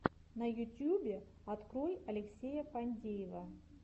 на ютьюбе открой алексея фадеева